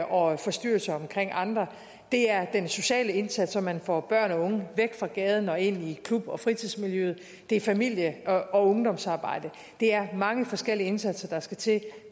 og forstyrrelser omkring andre det er den sociale indsats så man får børn og unge væk fra gaden og ind i klub og fritidsmiljøet det er familie og ungdomsarbejde det er mange forskellige indsatser der skal til